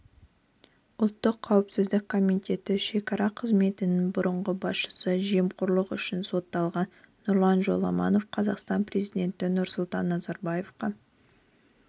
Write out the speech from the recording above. ұлттық қауіпсіздік комитеті шекара қызметінің бұрынғы басшысы жемқорлық үшін сотталған нұрлан жоламанов қазақстан президенті нұрсұлтан назарбаевқа